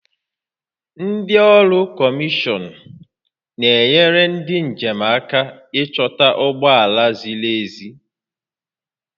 Ndị ọrụ kọmishọn na-enyere ndị njem aka ịchọta ụgbọ ala ziri ezi